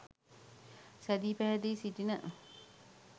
සැදී පැහැදී සිටින